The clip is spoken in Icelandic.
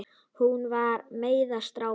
Hún var með strák!